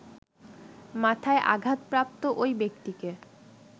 মাথায় আঘাতপ্রাপ্ত ঐ ব্যক্তিকে